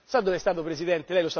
Sa dove è stata, Presidente?